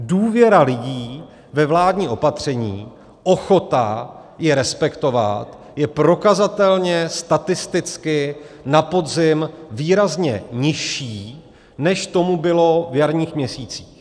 Důvěra lidí ve vládní opatření, ochota je respektovat, je prokazatelně statisticky na podzim výrazně nižší, než tomu bylo v jarních měsících.